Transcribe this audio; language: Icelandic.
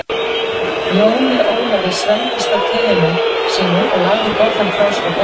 Jóni Ólafi svelgdist á teinu sínu og lagði bollann frá sér á borðið.